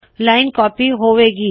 line copy ਹੋਵੇ ਗੀ